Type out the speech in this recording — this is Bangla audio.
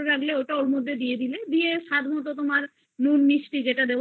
রাখলে ওটাতে দিয়ে দেবে স্বাদ মতন তোমার নুন মিষ্টি যেটা দেয়ার